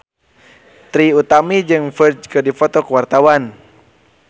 Trie Utami jeung Ferdge keur dipoto ku wartawan